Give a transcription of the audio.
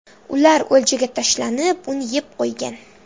Ular o‘ljaga tashlanib, uni yeb qo‘ygan.